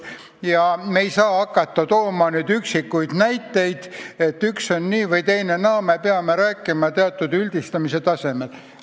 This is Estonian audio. Ja me ei saa hakata tooma üksikuid näiteid, me peame rääkima teatud üldistatuse tasemel.